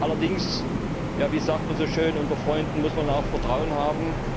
Allerdings, wie sagt man so schön Unter Freunden muss man auch Vertrauen haben.